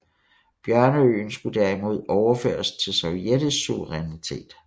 Bjørneøen skulle derimod overføres til sovjetisk suverænitet